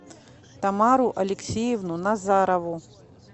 тамару алексеевну назарову